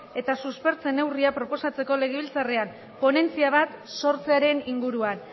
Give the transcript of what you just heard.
eta suspertze neurriak proposatzeko legebiltzarrean ponentzia bat sortzearen inguruan